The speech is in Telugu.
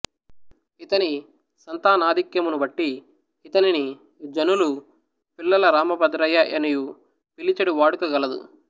ఈతని సంతానాధిక్యమునుబట్టి యితనిని జనులు పిల్లల రామభద్రయ్య యనియు పిలిచెడువాడుక గలదు